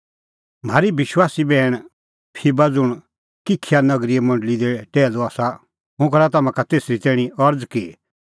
म्हारी विश्वासी बैहण फीबा ज़ुंण किंखिया नगरीए मंडल़ी दी टैहलू आसा हुंह करा तम्हां का तेसरी तैणीं अरज़ कि